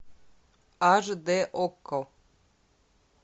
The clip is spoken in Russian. аш дэ окко